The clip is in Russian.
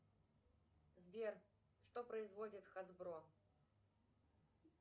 сбер что производит хасбро